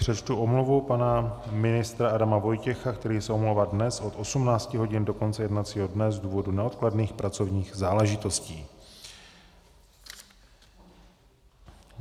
Přečtu omluvu pana ministra Adama Vojtěcha, který se omlouvá dnes od 18 hodin do konce jednacího dne z důvodu neodkladných pracovních záležitostí.